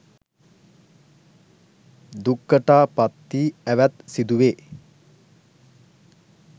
දුක්කටා පත්ති ඇවැත් සිදුවේ.